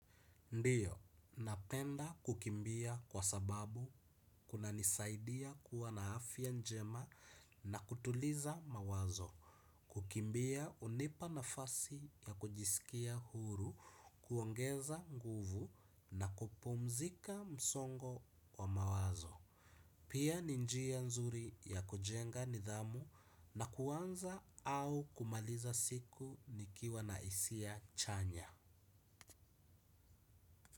Ndiyo, napenda kukimbia kwa sababu kunanisaidia kuwa na afya njema na kutuliza mawazo. Kukimbia unipa nafasi ya kujisikia huru, kuongeza nguvu na kupumzika msongo wa mawazo. Pia ni njia nzuri ya kujenga nidhamu na kuanza au kumaliza siku nikiwa na isia chanya.